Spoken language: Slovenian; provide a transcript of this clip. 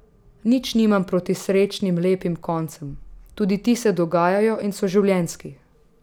Nič nimam proti srečnim, lepim koncem, tudi ti se dogajajo in so življenjski.